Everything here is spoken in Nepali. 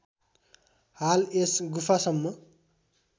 हाल यस गुफासम्म